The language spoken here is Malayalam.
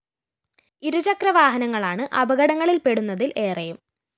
ഇരുചക്ര വാഹനങ്ങളാണ് അപകടങ്ങളില്‍പ്പെടുന്നതില്‍ ഏറെയും